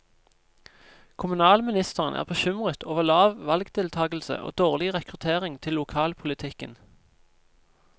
Kommunalministeren er bekymret over lav valgdeltagelse og dårlig rekruttering til lokalpolitikken.